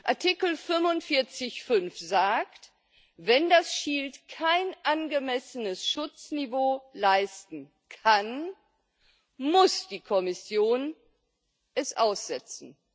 Artikel 45 Absatz 5 sagt Wenn das Shield kein angemessenes Schutzniveau leisten kann, muss die Kommission es aussetzen.